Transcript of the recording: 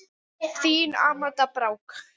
Þín Amanda Brák.